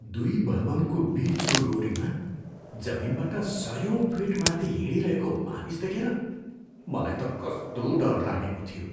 दुई भवनको बिचको डोरीमा जमिनबाट सयौँ फिट माथि हिँडिरहेको मानिस देखेर मलाई त कस्तो डर लागेको थियो।